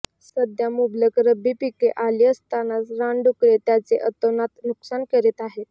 सध्या मुबलक रब्बी पीके आली असतानाच रानडुकरे त्याचे अतोनात नुकसान करीत आहेत